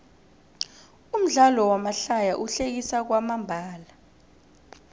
umdlalo wamahlaya uhlekisa kwamambala